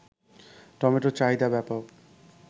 টমেটোর চাহিদা ব্যাপক